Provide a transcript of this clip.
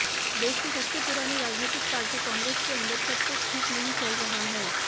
देश की सबसे पुरानी राजनीतिक पार्टी कांग्रेस के अंदर सबकुछ ठीक नहीं चल रहा है